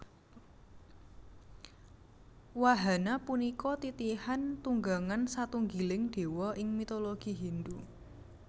Wahana punika titihan tunggangan satunggiling Déwa ing mitologi Hindhu